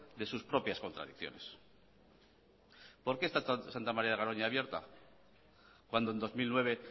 de sus propias contradicciones porque está santa maría de garoña abierta cuando en dos mil nueve